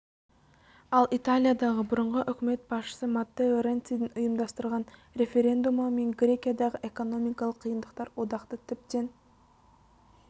ал италиядағы бұрынғы үкімет басшысы маттео ренцидің ұйымдастырған референдумы мен грекиядағы экономикалық қиындықтар одақты тіптен